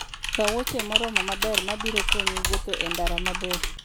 Kaw wuoche moromo maber ma biro konyi wuotho e ndara mabor.